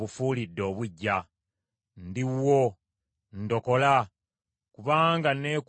Ndi wuwo, ndokola, kubanga neekuumye bye walagira.